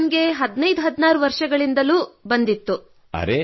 ರೋಗವು ನನಗೆ 1516 ವರ್ಷಗಳಿಂದಲೂ ತಗುಲಿತ್ತು